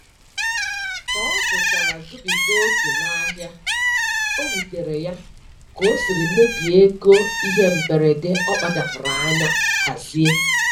Ka ọ zụchara zubiga oke n'ahịa, o wutere ya ka o siri mebie ego ihe mberede ọ kpachapụrụ anya hazie.